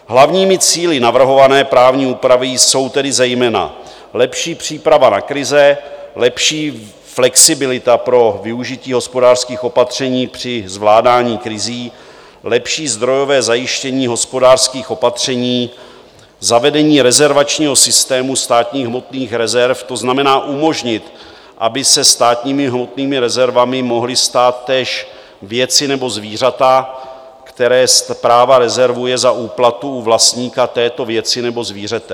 Hlavními cíli navrhované právní úpravy jsou tedy zejména lepší příprava na krize, lepší flexibilita pro využití hospodářských opatření při zvládání krizí, lepší zdrojové zajištění hospodářských opatření, zavedení rezervačního systému státních hmotných rezerv, to znamená umožnit, aby se státními hmotnými rezervami mohly stát též věci nebo zvířata, které Správa rezervuje za úplatu u vlastníka této věci nebo zvířete.